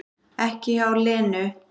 Ekki hjá Lenu